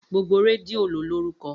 Gbogbo rẹdìo lọ lórúkọ.